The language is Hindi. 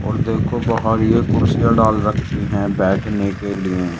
और देखो बाहर ये कुर्सियां डाल रखी है बैठने के लिए --